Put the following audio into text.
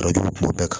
A jugu bɛɛ kan